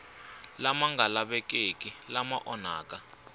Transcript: lama nga lavekeki lama onhaka